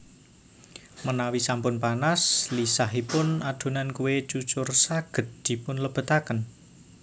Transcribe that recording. Menawi sampun panas lisahipun adonan kue cucur saged dipun lebetaken